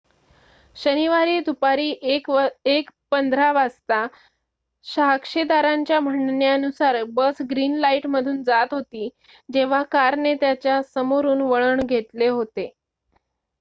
शनिवारी दुपारी 1:15 वाजता साक्षीदारांच्या म्हणण्यानुसार बस ग्रीन लाईटमधून जात होती जेव्हा कारने त्याच्या समोरून वळण घेतले होते